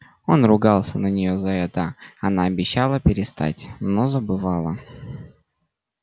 он ругался на нее за это она обещала перестать но забывала